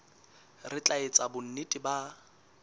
re tla etsa bonnete ba